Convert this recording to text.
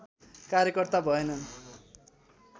कार्यकर्ता भएनन्